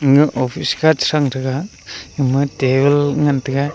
ama office kha sathang tega gama table ngan tega.